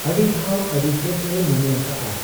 ᱟᱹᱰᱤ ᱫᱷᱟᱣ ᱟᱹᱰᱤᱥᱮᱫ ᱮ ᱢᱚᱱᱮᱭᱟᱠᱟᱜ ᱟ ᱾